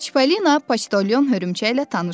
Çipollino Poçtalyon hörümçəklə tanış olur.